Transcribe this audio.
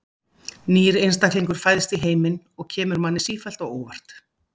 Nýr einstaklingur fæðist í heiminn og kemur manni sífellt á óvart.